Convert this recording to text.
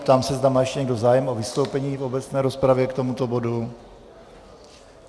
Ptám se, zda má ještě někdo zájem o vystoupení v obecné rozpravě k tomuto bodu.